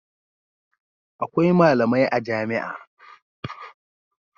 Akwai malamai a jami'a.